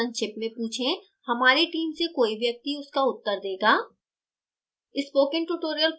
अपना प्रश्न संक्षिप्त में पूछें हमारी team से कोई व्यक्ति उनका उत्तर देगा